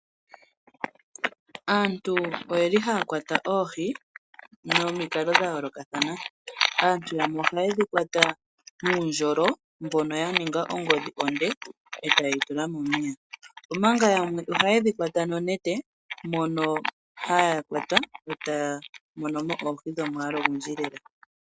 Aantu oyeli haya kwata oohi momikalo dhayoolokathana . Aantu yamwe ohayedhi kwata nuundjolo mbono waningwa ongodhi onde , etayeyi tula momeya. Omanga yamwe ohayedhi kwata nonete mono haya kwata etaya monomo oohi dhomwaalu ogundji lela.